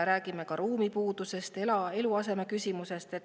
Räägime ka ruumipuudusest, eluaseme küsimusest.